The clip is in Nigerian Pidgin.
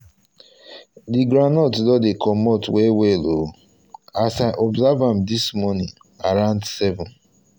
the groundnut don dey comot well well o as i observe am this morning around seven